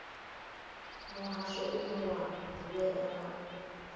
muhasho une wa ḓivhea nga